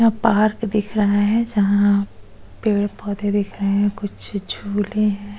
यहां पार्क दिख रहा है जहां पेड़-पौधे दिख रहे हैं कुछ झूले हैं।